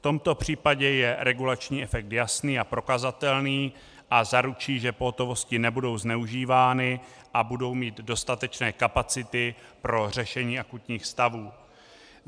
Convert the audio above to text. V tomto případě je regulační efekt jasný a prokazatelný a zaručí, že pohotovosti nebudou zneužívány a budou mít dostatečné kapacity pro řešení akutních stavů.